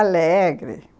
Alegre.